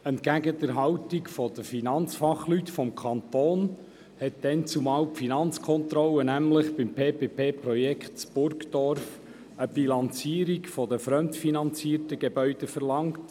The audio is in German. Entgegen der Haltung der Finanzfachleute des Kantons hat die Finanzkontrolle seinerzeit nämlich beim PPP-Projekt Burgdorf/Neumatt eine Bilanzierung der fremdfinanzierten Gebäude verlangt.